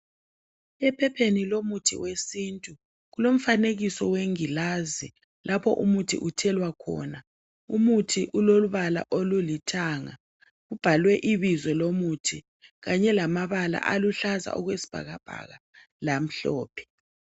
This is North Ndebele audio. Ephepheni lomuthi wesintu, kulomfanekiso wengilazi lapho umuthi uthelwa khona. Umuthi ulobala olulithanga ubhalwe ibizo lomuthi kanye lamabala aluhlaza okwesibhakabhaka lamhlophe